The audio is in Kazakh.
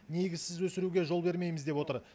негізсіз өсіруге жол бермейміз деп отыр